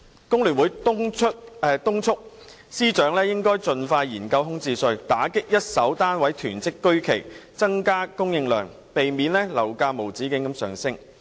工聯會敦促財政司司長盡快研究開徵物業空置稅，以打擊一手單位囤積居奇，增加供應量，避免樓價無止境地上升。